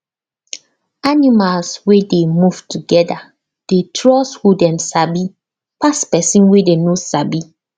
animals wey dey move together dey trust who dem sabi pass person wey dem no sabi